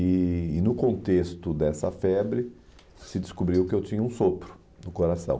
E e no contexto dessa febre, se descobriu que eu tinha um sopro no coração.